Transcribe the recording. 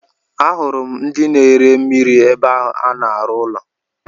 Ahụrụ m ndị na ere mmiri ébé a na-aru ụlọ.